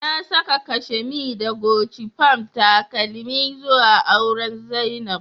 Na saka kashemee da Guchi Palm takeleme zua auren zainab